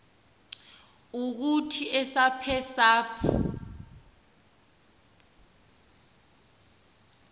ukuthi esaph esaph